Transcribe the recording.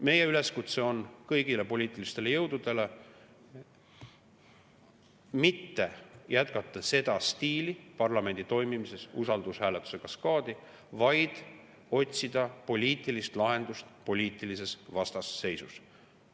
Meie üleskutse kõigile poliitilistele jõududele on mitte jätkata seda stiili parlamendi toimimises, usaldushääletuste kaskaadi, vaid otsida poliitilises vastasseisus poliitilist lahendust.